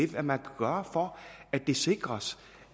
hvad man kan gøre for at det sikres